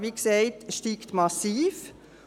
Wie gesagt steigt die Nachfrage massiv.